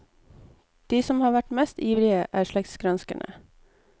De som har vært mest ivrige, er slektsgranskerne.